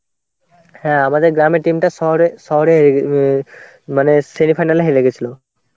হ্যাঁ আমাদের গ্রামের team টা শহরে~ শহরে মানে semifinal এ হেরে গেছিলো.